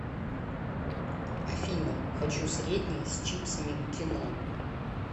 афина хочу средний с чипсами к кино